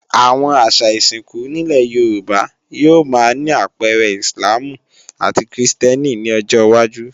Àwọn àṣà ìsìnkú nílé Yorùbá yóò máa ní àpẹẹrẹ Íslàmù àti krìstẹ́nì ní ọjọwájú